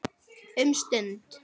Um stund.